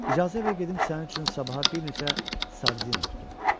İcazə ver gedim sənin üçün sabaha bir neçə sardina tutum.